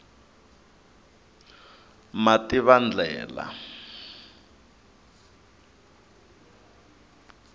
mativandlela